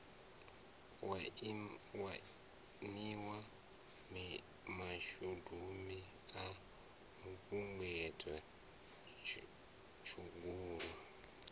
waniwa mashubini a mapungubwe tshugulu